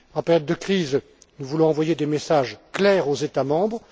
En période de crise, nous voulons envoyer des messages clairs aux États membres.